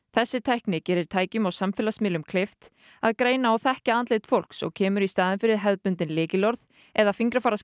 þessi tækni gerir tækjum og samfélagsmiðlum kleift að greina og þekkja andlit fólks og kemur í staðinn fyrir hefðbundin lykilorð eða